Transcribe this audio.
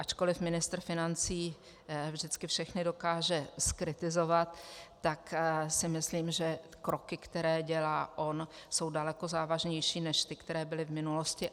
Ačkoli ministr financí vždycky všechny dokáže zkritizovat, tak si myslím, že kroky, které dělá on, jsou daleko závažnější než ty, které byly v minulosti.